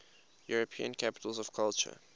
european capitals of culture